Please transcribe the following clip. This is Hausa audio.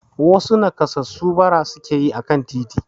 Wasu nakassasu bara suke yi akan titi.